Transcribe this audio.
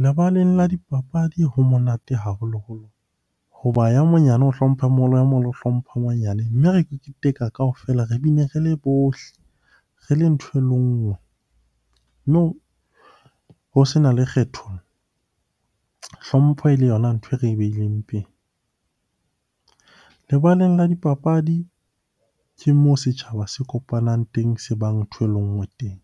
Lebaleng la dipapadi ho monate haholoholo hoba ya monyane o hlompha a moholo, ya moholo o hlompha ya monyane. Mme re keteka kaofela, re bine re le bohle, re le ntho e le nngwe. Mme ho sena le kgetholo, hlompho e le yona nthwe re beileng pele. Lebaleng la dipapadi ke moo setjhaba se kopanang teng se bang nthwe le nngwe teng.